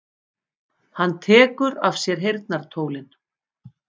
Hann tekur af sér heyrnartólin.